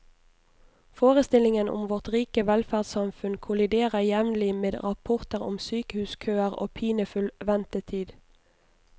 Forestillingen om vårt rike velferdssamfunn kolliderer jevnlig med rapporter om sykehuskøer og pinefull ventetid.